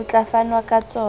ho tla fanwa ka tsona